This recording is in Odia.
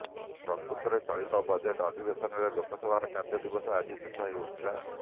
ପ୍ରକୃତରେ ଚଳିତ ବଜେଟ ଅଧିବେଶନରେ ଲୋକସଭାର କାର୍ଯ୍ୟ ଦିବସ ଆଜି ଶେଷ ହେଉଥିଲା